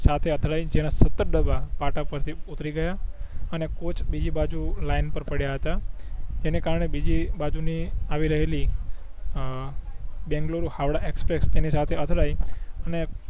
સાથે અથડાઇ જેના સત્તર ડબ્બા પાટા પર થી ઉતરી ગયા અને કોચ બીજી બાજુ લાઇન પર પડીયા હતા એને કારણે બીજી બાજુ ની આવી રહેલી અ બેંગલુરુ હાવડા એક્સપ્રેસ તેની સાથે અથડાઇ ને